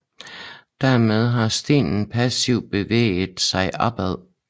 Dermed har stenen passivt bevæget sig opad